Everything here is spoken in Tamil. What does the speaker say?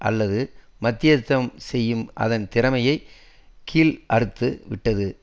அல்லது மத்தியஸ்தம் செய்யும் அதன் திறமையை கீழ் அறுத்து விட்டது